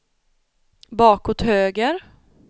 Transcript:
bakåt höger